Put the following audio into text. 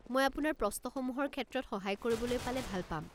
মই আপোনাৰ প্ৰশ্নসমূহৰ ক্ষেত্ৰত সহায় কৰিবলৈ পালে ভাল পাম।